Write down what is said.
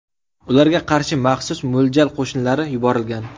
Ularga qarshi maxsus mo‘ljal qo‘shinlari yuborilgan.